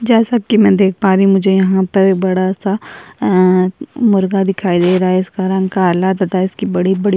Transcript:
जैसा की मैं देख पारी हूँ मुझे यहाँ पर बड़ा सा अ-अ मुर्गा दिखाई दे रहा है इसका रंग काला तथा इसकी बड़ी बड़ी --